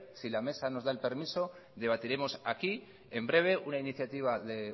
si la mesa nos da permiso debatiremos aquí en breve una iniciativa de